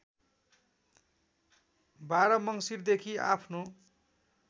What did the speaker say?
१२ मङ्सिरदेखि आफ्नो